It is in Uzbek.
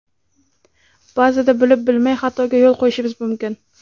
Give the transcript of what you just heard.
Ba’zida bilib-bilmay xatoga yo‘l qo‘yishimiz mumkin.